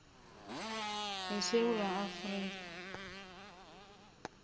ye sewula afrika